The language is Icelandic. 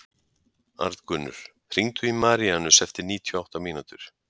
Arngunnur, hringdu í Maríanus eftir níutíu og átta mínútur.